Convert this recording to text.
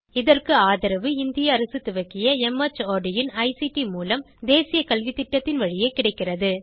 இதற்கு ஆதரவு இந்திய அரசு துவக்கிய மார்ட் இன் ஐசிடி மூலம் தேசிய கல்வித்திட்டத்தின் வழியே கிடைக்கிறது